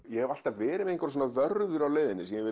ég hef alltaf verið með vörður á leiðinni sem ég